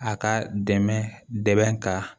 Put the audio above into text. A ka dɛmɛ dɛmɛ ka